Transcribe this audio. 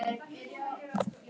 Hvar á hann afi þinn heima?